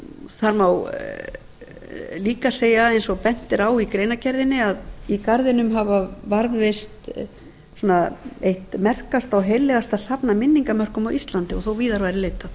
það má líka segja eins og bent er á í greinargerðinni að í garðinum hefur varðveist eitt merkasta og heillegasta safn af minningarmörkum á íslandi og þó víðar